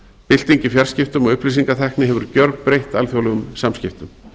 bylting í fjarskiptum og upplýsingatækni hefur gjörbreytt alþjóðlegum samskiptum